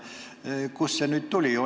Kust see nüüd tuli?